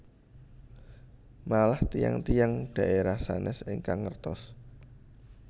Malah tiyang tiyang dhaerah sanes ingkang ngertos